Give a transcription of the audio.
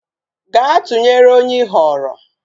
Gaa tụnyere onye ị họọrọ!